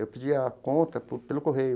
Eu pedia a conta por pelo correio.